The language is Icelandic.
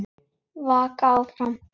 Vaka áfram.